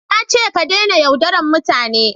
Na ce ka dena yaudaran mutane!